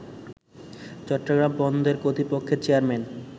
চট্টগ্রাম বন্দর কর্তৃপক্ষের চেয়ারম্যান